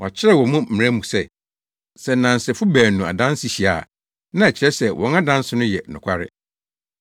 Wɔakyerɛw wɔ mo mmara mu se sɛ nnansefo baanu adanse hyia a, na ɛkyerɛ sɛ wɔn adanse no yɛ nokware.